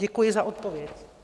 Děkuji za odpověď.